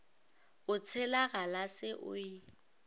o tšhela galase o e